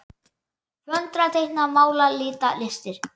Föndra- teikna- mála- lita- listir